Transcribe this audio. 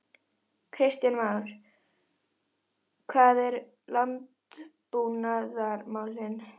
Kristján Már: Hvað með landbúnaðarmálin?